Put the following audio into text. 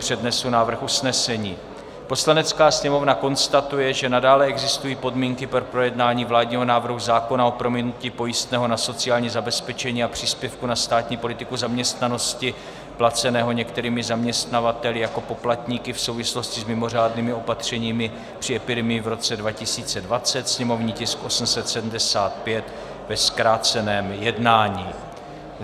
Přednesu návrh usnesení: "Poslanecká sněmovna konstatuje, že nadále existují podmínky pro projednání vládního návrhu zákona o prominutí pojistného na sociální zabezpečení a příspěvku na státní politiku zaměstnanosti placeného některými zaměstnavateli jako poplatníky v souvislosti s mimořádnými opatřeními při epidemii v roce 2020, sněmovní tisk 875, ve zkráceném jednání."